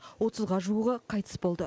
отызға жуығы қайтыс болды